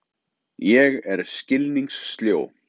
Ég er skilningssljó.